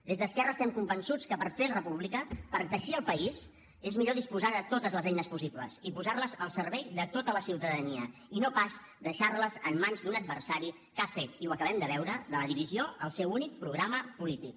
des d’esquerra estem convençuts que per fer república per teixir el país és millor disposar de totes les eines possibles i posar les al servei de tota la ciutadania i no pas deixar les en mans d’un adversari que ha fet i ho acabem de veure de la divisió el seu únic programa polític